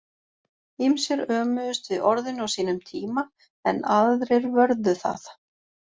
Ýmsir ömuðust við orðinu á sínum tíma en aðrir vörðu það.